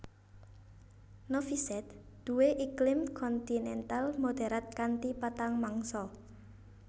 Novi Sad duwé iklim kontinental moderat kanthi patang mangsa